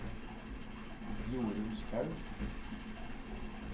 Jorunn Skaug